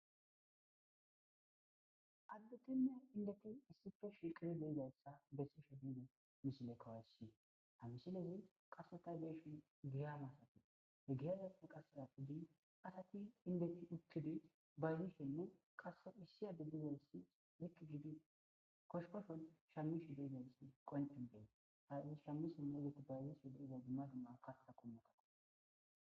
Addetinne indeti issipe shiqqidi diza issa besishe ha misile qassika be'ishe asati indeti uttidi giyan shamishen bayizishe diza issa beesses.